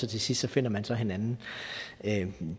til sidst finder man så hinanden